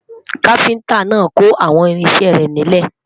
kafinta nà kò àwọn irinṣẹ rè nílè